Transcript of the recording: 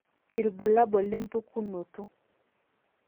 irbulabul lempukunoto